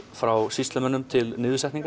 frá sýslumönnum til